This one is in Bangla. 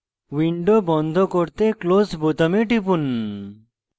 window বন্ধ করতে close বোতামে টিপুন